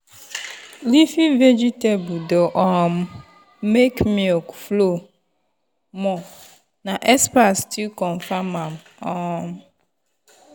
leafy veg dey um make milk flow more na expert still confirm am. um